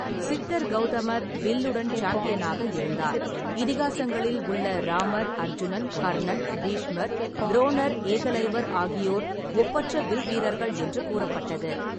சித்தர் கௌதமர் வில்லுடன் சாம்பியனாக இருந்தார். இதிகாசங்களில் உள்ள ராமர், அர்ஜுனன், கர்ணன், பீஷ்மர், துரோணர், ஏகலைவர் ஆகியோர் ஒப்பற்ற வில்வீரர்கள் என்று கூறப்பட்டது.